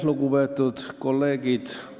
Lugupeetud kolleegid!